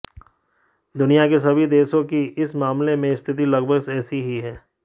दुनिया के सभी देशों की इस मामले में स्थिति लगभग ऐसी ही है